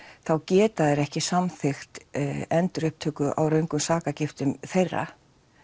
þá geta þeir ekki samþykkt endurupptöku á röngum sakargiftum þeirra